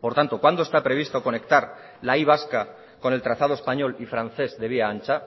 por tanto cuándo está previsto conectar la y vasca con el trazado español y francés de vía ancha